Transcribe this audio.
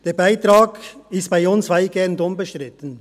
Der Beitrag ist bei uns weitgehend unbestritten.